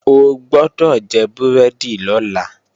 O gbọ́dọ̀ jẹ búrẹ́dì lọ́la!